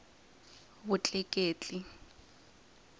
vutleketli